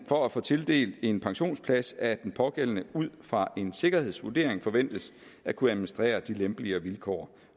for at få tildelt en pensionsplads at den pågældende ud fra en sikkerhedsvurdering forventes at kunne administrere de lempeligere vilkår